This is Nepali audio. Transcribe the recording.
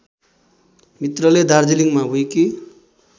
मित्रले दार्जिलिङमा विकि